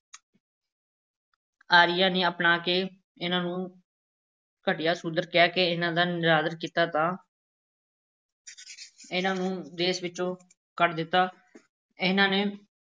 ਆਰੀਆਂ ਨੇ ਅਪਣਾ ਕੇ ਇਹਨਾਂ ਨੂੰ ਘਟੀਆ ਸ਼ੂਦਰ ਕਹਿ ਕੇ ਇਹਨਾਂ ਦਾ ਨਿਰਾਦਰ ਕੀਤਾ ਤਾਂ ਇਹਨਾਂ ਨੂੰ ਦੇਸ ਵਿੱਚੋਂ ਕੱਢ ਦਿੱਤਾ, ਇਹਨਾਂ ਨੇ